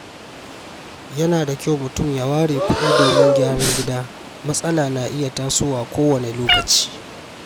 Yana da kyau mutum ya ware kuɗi domin gyaran gida, matsala na iya tasowa kowane lokaci.